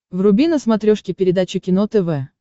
вруби на смотрешке передачу кино тв